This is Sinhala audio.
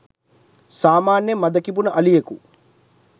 සාමාන්‍යයෙන් මද කිපුන අලියකු